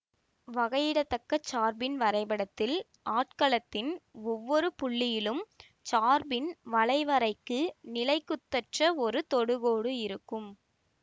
வகையிட தக்க சார்பின் வரைபடத்தில் ஆட்களத்தின் ஒவ்வொரு புள்ளியிலும் சார்பின் வளைவரைக்கு நிலைக்குத்தற்ற ஒரு தொடுகோடு இருக்கும்